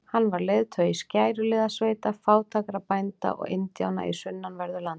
Hann var leiðtogi skæruliðasveita fátækra bænda og indjána í sunnanverðu landinu.